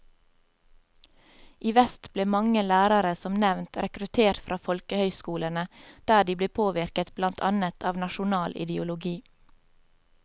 I vest ble mange lærere som nevnt rekruttert fra folkehøyskolene, der de ble påvirket blant annet av nasjonal ideologi.